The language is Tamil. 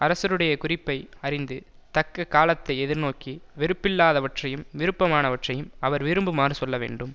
அரசருடையக் குறிப்பை அறிந்து தக்க காலத்தை எதிர்நோக்கி வெறுப்பில்லாதவற்றையும் விருப்பமானவற்றையும் அவர் விரும்புமாறுச் சொல்ல வேண்டும்